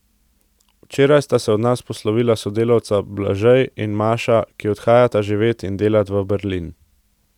Včeraj sta se od nas poslovila sodelavca Blažej in Maša, ki odhajata živet in delat v Berlin.